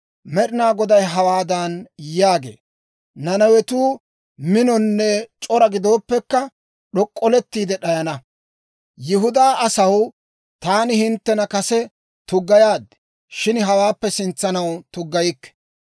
Med'inaa Goday hawaadan yaagee; «Nanawetuu minonne c'ora gidooppekka, d'ok'olettiide d'ayana. Yihudaa asaw, taani hinttena kase tuggayaad; shin hawaappe sintsanaw tuggayikke.